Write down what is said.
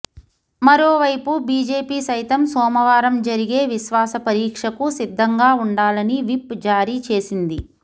మరోవైపు బీజేపీ సైతం సోమవారం జరిగే విశ్వాస పరీక్షకు సిద్ధంగా ఉండాలని విప్ జారీ చేసింది